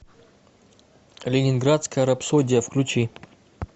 ленинградская рапсодия включи